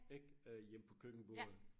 Ik øh hjemme på køkkenbordet